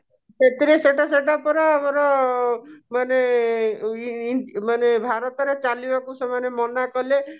ସେଥିରେ ସେଟା ସେଟା ପରା ଆମର ମାନେ ଇ ମାନେ ଭାରତ ରେ ଚଳିବାକୁ ସେମାନେ ମନାକଲେ